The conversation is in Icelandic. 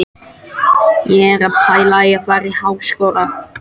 Ég er að pæla í að fara í Háskólann.